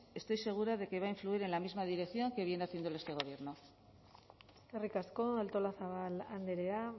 estoy segura de que va a influir en la misma dirección que viene haciéndolo este gobierno eskerrik asko artolazabal andrea